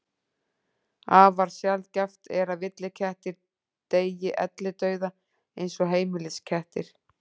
Afar sjaldgæft er að villikettir deyi ellidauða eins og heimiliskettir.